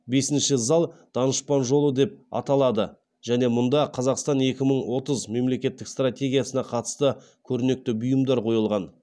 бесінші зал данышпан жолы деп аталады және мұнда қазақстан екі мың отыз мемлекеттік стратегиясына қатысты көрнекі бұйымдар қойылған